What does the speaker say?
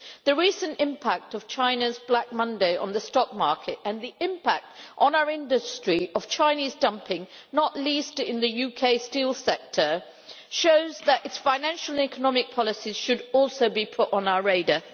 The recent impact of China's Black Monday on the stock market and the impact on our industry of Chinese dumping, not least in the UK steel sector, show that its financial economic policies should also be put on our radar.